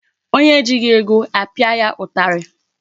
Onye ejighị ego, a pịa ya ụtarị.